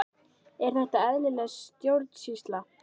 Er þetta eðlileg stjórnsýsla?